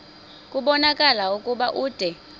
kubonakala ukuba ude